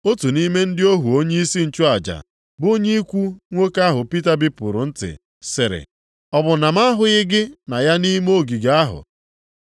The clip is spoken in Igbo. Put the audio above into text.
Otu nʼime ndị ohu onyeisi nchụaja, bụ onye ikwu nwoke ahụ Pita bipụrụ ntị, sịrị, “Ọ bụ na m ahụghị gị na ya nʼime ogige ahụ?”